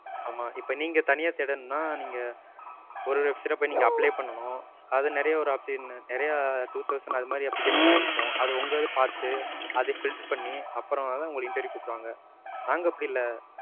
ஆமா இப்ப நீங்க தனியா தேடனும்னா, நீங்க ஒரு website ல போய் நீங்க பண்ணனும். அது நிறையா வரும் நிறையா two thousand அந்தமாதிரி application லா இருக்கும். அது உங்க இது பாத்து, அது filter பண்ணி, அப்பறமா தான் உங்கள interview கு கூப்பிடுவாங்க. நாங்க அப்டி இல்ல.